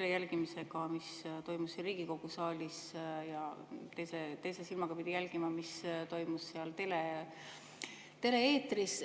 jälgima, mis toimus siin Riigikogu saalis, ja teise silmaga pidi jälgima, mis toimus tele-eetris.